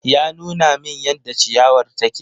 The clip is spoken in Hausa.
Ya nuna min yadda ciyawar take.